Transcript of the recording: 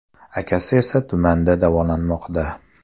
Akasi esa tumanda davolanmoqda.